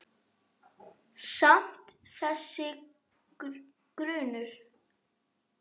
Samt- þessi grunur.